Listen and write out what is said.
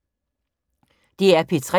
DR P3